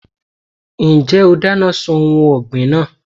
Ǹjẹ́ o dáná sun ohun ọ̀gbìn náà?